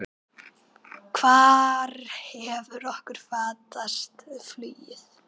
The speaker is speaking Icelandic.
Hvar hefur okkur fatast flugið?